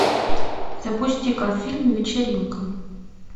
запусти ка фильм вечеринка